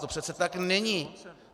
To přece tak není.